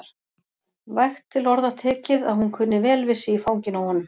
Vægt til orða tekið að hún kunni vel við sig í fanginu á honum.